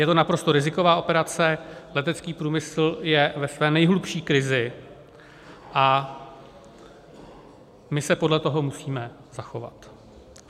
Je to naprosto riziková operace, letecký průmysl je ve své nejhlubší krizi a my se podle toho musíme zachovat.